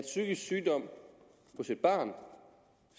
psykisk sygdom hos et barn